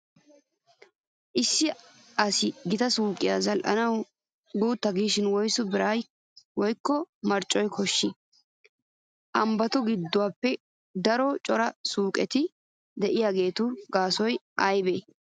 Issi asi gita suuqiyaa zal'anawu guutta giishin woysu biray woykko marccoy koshshii? Ambbatun ganddatuppe aaruwaa cora suuqeti de'iyoogaagawu gaasoy aybee?